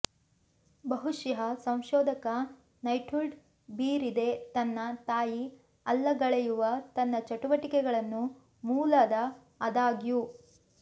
ಬಹುಶಃ ಸಂಶೋಧಕ ನೈಟ್ಹುಡ್ ಬೀರಿದೆ ತನ್ನ ತಾಯಿ ಅಲ್ಲಗಳೆಯುವ ತನ್ನ ಚಟುವಟಿಕೆಗಳನ್ನು ಮೂಲದ ಆದಾಗ್ಯೂ